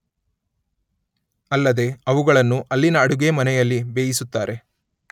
ಅಲ್ಲದೇ ಅವುಗಳನ್ನು ಅಲ್ಲಿನ ಅಡುಗೆ ಮನೆಯಲ್ಲಿ ಬೇಯಿಸುತ್ತಾರೆ.